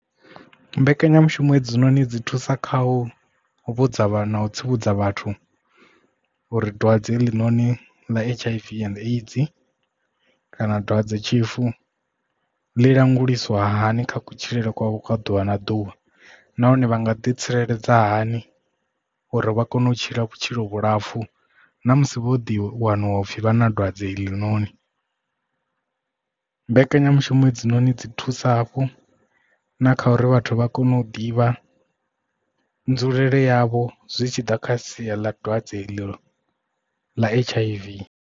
Mbekanyamushumo hedzinoni dzi thusa kha u vhudza vha na u tsivhudza vhathu uri dwadze heḽi noni ḽa H_I_V and AIDS kana dwadzetshifu ḽi languliswa hani kha kutshilele kwavho kha ḓuvha na ḓuvha nahone vha nga ḓi tsireledza hani uri vha kone u tshila vhutshilo vhulapfu ṋamusi vho ḓi wanwa upfhi vha na dwadze heinoni. Mbekanyamushumo hedzinoni dzi thusa hafhu na kha uri vhathu vha kone u ḓivha nzulele yavho zwi tshi ḓa kha sia ḽa dwadze ḽa H_I_V.